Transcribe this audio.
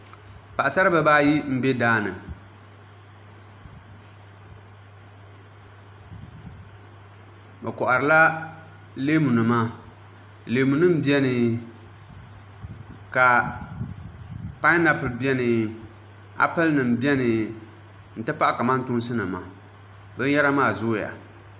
Paɣasara bibayi n bɛ daani bi koharila leemu nima leemu nim biɛni ka painapuli biɛni applɛ nim biɛni n ti pahi kamantoosi nima binyɛra maa zooya